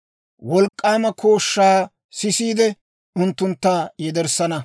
Wolk'k'aama kooshshaa sissiidde, unttuntta yederssana.